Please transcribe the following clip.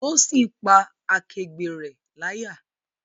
Tósìn pá akẹgbẹ́ rẹ̀ láyà